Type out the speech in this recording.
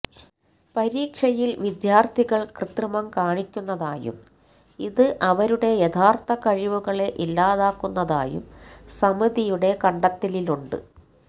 പരീക്ഷയില് വിദ്യാര്ഥികള് കൃത്രിമം കാണിക്കുന്നതായും ഇത് അവരുടെ യഥാര്ഥ കഴിവുകളെ ഇല്ലാതാക്കുന്നതായും സമിതിയുടെ കണ്ടെത്തലിലുണ്ട്